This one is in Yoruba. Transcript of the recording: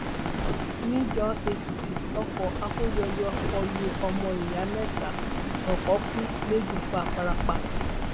níjànèkìtì ọkọ akóyọyọ kọ lu ọmọ ìyá mẹta ọkàn kù méjì fara pa